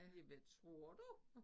Ja hvad tror du?